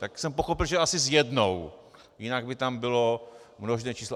Tak jsem pochopil, že asi s jednou, jinak by tam bylo množné číslo.